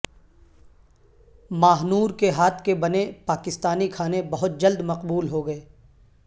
ماہ نور کے ہاتھ کے بنے پاکستانی کھانے بہت جلد مقبول ہو گئے